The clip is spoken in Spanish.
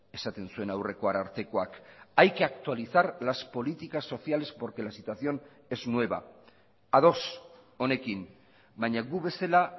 esaten zuen aurreko arartekoak hay que actualizar las políticas sociales porque la situación es nueva ados honekin baina gu bezala